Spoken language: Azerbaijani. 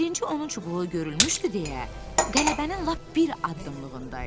Birinci onun çubuğu görünmüşdü deyə, qələbənin lap bir addımlığındaydı.